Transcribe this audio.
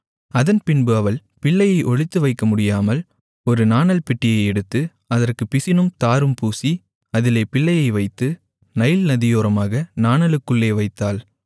அதன்பின்பு அவள் பிள்ளையை ஒளித்துவைக்கமுடியாமல் ஒரு நாணல்பெட்டியை எடுத்து அதற்குப் பிசினும் தாரும் பூசி அதிலே பிள்ளையை வைத்து நைல் நதியோரமாக நாணலுக்குள்ளே வைத்தாள்